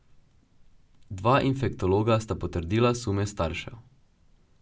Dva infektologa sta potrdila sume staršev.